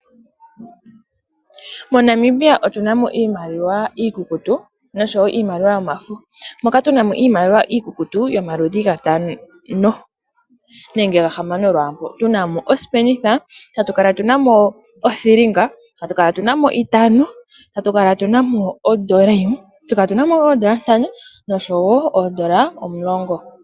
MoNamibia otuna mo iimaliwa iikukutu noshowo iimaliwa yomafo. Otuna mo iimaliwa iikukutu yomaludhi gatano nenge gahamano tuna mo osipenitha, othilinga, itano, ondola yimwe, oondola ntano noshowo oondola omulongo.